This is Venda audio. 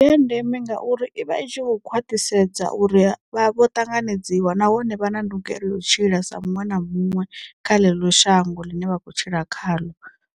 Ndi ya ndeme ngauri i vha i tshi kho khwaṱhisedza uri vha vho ṱanganedziwa nahone vha na ndugelo u tshila sa muṅwe na muṅwe kha ḽeneḽo shango ḽine vha khou tshila khaḽo,